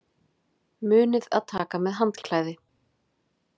Munið að taka með handklæði!